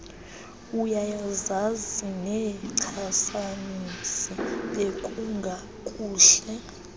uyazazi nezichasanisi bekungakuhle